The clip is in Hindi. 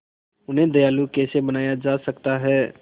उन्हें दयालु कैसे बनाया जा सकता है